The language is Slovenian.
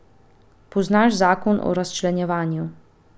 Poznaš zakon o razčlenjevanju.